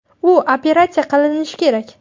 U operatsiya qilinishi kerak.